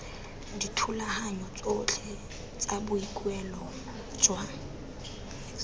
dithulaganyo tsotlhe tsa boikuelo jwa